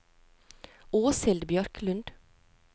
Åshild Bjørklund